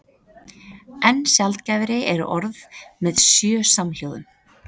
Enn sjaldgæfari eru orð með sjö samhljóðum.